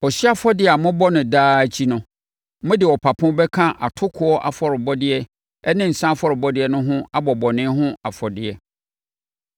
Ɔhyeɛ afɔrebɔ a mobɔ no daa akyi no, mode ɔpapo bɛka atokoɔ afɔrebɔdeɛ ne nsã afɔrebɔdeɛ no ho abɔ bɔne ho afɔdeɛ.